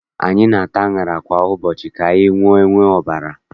Anyị na-ata aṅara kwa ụbọchị ka anyị wee nwee ọbara.